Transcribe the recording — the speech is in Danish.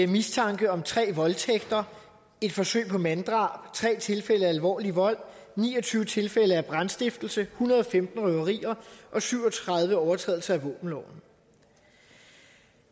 mistanke om tre voldtægter et forsøg på manddrab tre tilfælde af alvorlig vold ni og tyve tilfælde af brandstiftelse en hundrede og femten røverier og syv og tredive overtrædelser af våbenloven